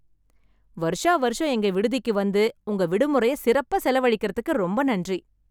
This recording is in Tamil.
வருஷா வருஷம் எங்க விடுதிக்கு வந்து உங்க விடுமுறைய சிறப்பா செலவழிக்கறதுக்கு ரொம்ப நன்றி.